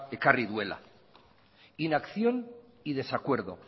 ekarri duela inacción y desacuerdo